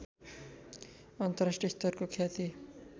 अन्तर्राष्ट्रियस्तरको ख्याति